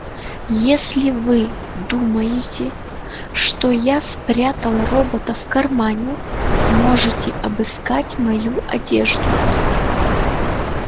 если вы думаете что я спрятал робота в кармане можете обыскать мою одежду